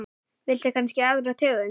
Viltu kannski aðra tegund?